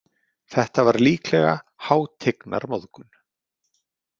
Þetta var líklega hátignarmóðgun.